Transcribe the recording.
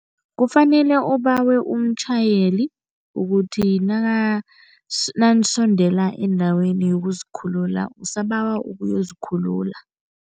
Kufanele ubawe umtjhayeli ukuthi nanisondela endaweni yokuzikhulula, usabawa ukuyozikhulula.